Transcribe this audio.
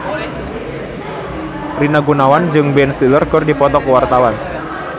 Rina Gunawan jeung Ben Stiller keur dipoto ku wartawan